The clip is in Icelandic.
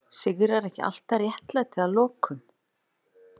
Sigrar ekki alltaf réttlæti að lokum?